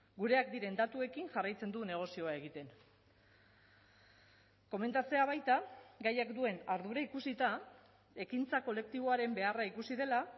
gureak diren datuekin jarraitzen du negozioa egiten komentatzea baita gaiak duen ardura ikusita ekintza kolektiboaren beharra ikusi dela